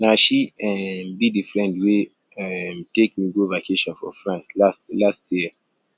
na she um be the friend wey um take me go vacation for france last last year